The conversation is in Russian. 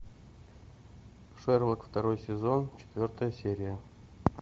шерлок второй сезон четвертая серия